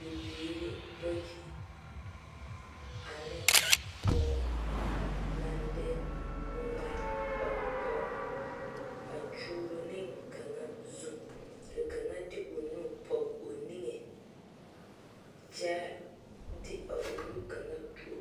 Bibiiri bayi ane pɔge naŋ de ŋmane ɔŋ koɔ a kyuuro ne kaŋ zu ka kaŋa de o nu pɔge o nige kyɛ de a o nu kaŋa tuo.